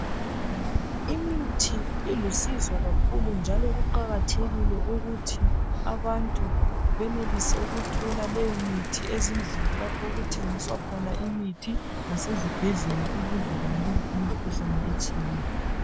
imithi ilusizo kakhulu njalo kuqakathekile ukuthi abantu benelise ukuthola leyo mithi ezindlini lapho okuthengiswa khona imithi lasezibhedlela ukuze banqobe imikhuhlane etshiyeneyo